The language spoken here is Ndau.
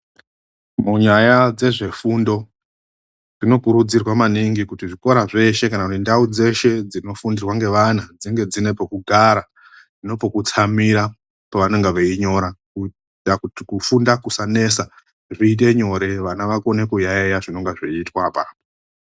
Munyaya dzezvefundo zvinokurudzirwa maningi kuti zvikora zveshe kana kuti ndau dzeshe dzinofundirwa ngevana dzinge dzine pekugara nepe kutsamira pavanenge veinyora kuita kuti kufunda kusanesa zviite nyore .Vana vakone kuyaiya zvinenge zviitwa apapo.